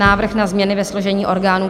Návrh na změny ve složení orgánů